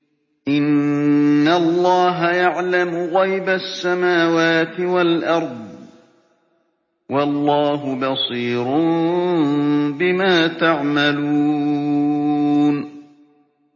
إِنَّ اللَّهَ يَعْلَمُ غَيْبَ السَّمَاوَاتِ وَالْأَرْضِ ۚ وَاللَّهُ بَصِيرٌ بِمَا تَعْمَلُونَ